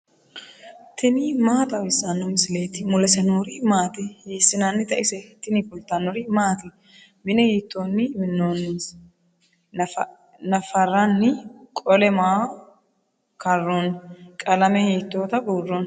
tini maa xawissanno misileeti ? mulese noori maati ? hiissinannite ise ? tini kultannori maati? mine hiittonni minoonnisi? naffaranni qole maa karoonni? qalame hiittotta buuronni?